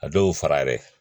A dɔw fara yɛrɛ